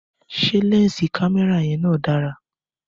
Ṣé lẹnsi kámẹ́rà yan na dára?